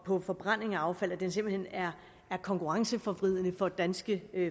på forbrænding af affald simpelt hen er konkurrenceforvridende for danske